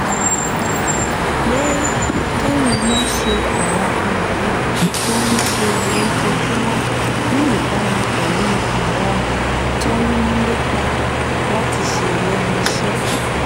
pé kéèyàn máa ṣe àwọn nǹkan tó ń ṣe lójoojúmọ́ níbàámu pẹ̀lú ohun tó ń lépa láti ṣe lẹ́nu iṣẹ́